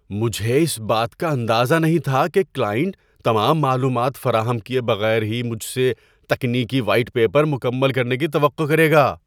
مجھے اس بات کا اندازہ نہیں تھا کہ کلائنٹ تمام معلومات فراہم کیے بغیر ہی مجھ سے تکنیکی وائٹ پیپر مکمل کرنے کی توقع کرے گا۔